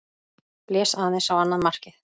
Blés aðeins á annað markið.